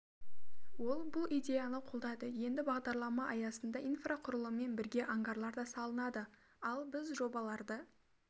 ол бұл идеяны қолдады енді бағдарлама аясында инфрақұрылыммен бірге ангарлар да салынады ал біз жобаларды